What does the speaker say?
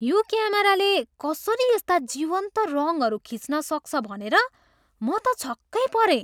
यो क्यामेराले कसरी यस्ता जीवन्त रङहरू खिच्न सक्छ भनेर म त छक्कै परेँ।